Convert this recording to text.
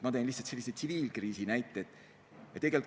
Ma tõin lihtsalt sellise tsiviilkriisi näite.